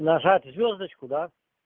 нажать звёздочку да